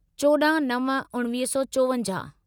चोॾहं नव उणिवीह सौ चोवंजाहु